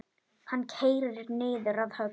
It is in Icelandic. Hann keyrir niður að höfn.